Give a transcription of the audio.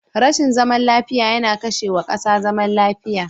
Rashin zaman lafiya yana kashe wa kasa zaman lafiya.